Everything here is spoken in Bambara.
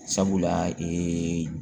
Sabula ee